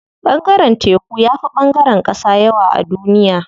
Ɓangaren teku yafi ɓangaren ƙasa yawa a duniya.